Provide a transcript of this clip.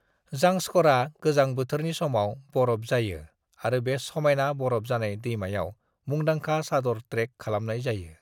ज़ांस्करआ गोजां बोथोरनि समाव बर'फ जायो आरो बे समायना बर'फ जानाय दैमायाव मुंदांखा चादर ट्रेक खालामनाय जायो।